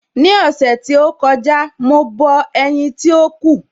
Ní ọ̀sẹ̀ tí ó kọjá, mo bọ ẹ̀yin tí ó kù.